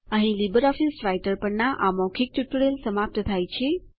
અહીં LibreOffice Writer પરના આ મૌખિક ટ્યુટોરીયલ સમાપ્ત થાય છે